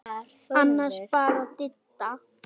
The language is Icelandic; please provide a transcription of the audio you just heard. Annars bara Didda.